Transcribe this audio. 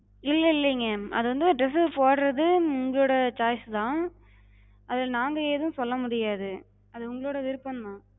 இல்ல இல்லிங்க. அது வந்து dress போட்றது உங்களோட choice தா, அதுல நாங்க எது சொல்ல முடியாது அது உங்களோட விருப்பந்தா.